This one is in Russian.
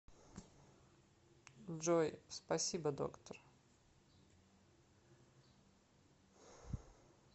джой спасибо доктор